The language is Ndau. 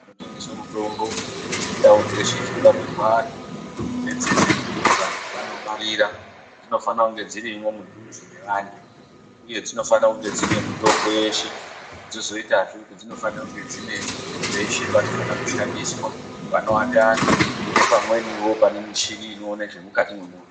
Kunotengeswe mutombo ngendau dzeshe dzinorapirwa antu nedzeshe dzekuti vantu vanobarira dzinofana kunga dzirimwo kudhuze nevantu uye dzinofana kunge dzinemitombo yeshe dzozoitazve kuti dzinofanire kunge dzine peshe panofana kushandiswa panoate antu nepamweniwo pane muchini inoonekwa zvemukati mwemunhu.